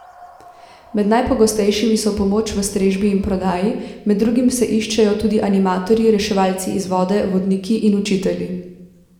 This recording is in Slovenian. Med najpogostejšimi so pomoč v strežbi in prodaji, med drugim se iščejo tudi animatorji, reševalci iz vode, vodniki in učitelji.